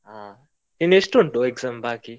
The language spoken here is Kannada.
ಹಾ, ಇನ್ನು ಎಷ್ಟು ಉಂಟು exam ಬಾಕಿ.